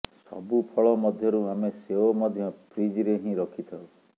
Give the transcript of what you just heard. ସବୁ ଫଳ ମଧ୍ୟରୁ ଆମେ ସେଓ ମଧ୍ୟ ଫ୍ରୀଜ୍ରେ ହିଁ ରଖିଥାଉ